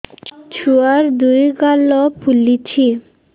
ଛୁଆର୍ ଦୁଇ ଗାଲ ଫୁଲିଚି